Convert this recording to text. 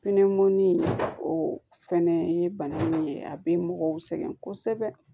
Pinɛ o fɛnɛ ye bana min ye a bɛ mɔgɔw sɛgɛn kosɛbɛ